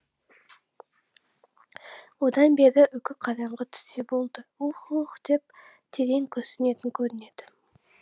одан бері үкі қараңғы түссе болды ух ух деп терең күрсінетін көрінеді